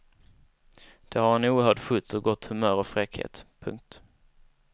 Det har en oerhörd skjuts och gott humör och fräckhet. punkt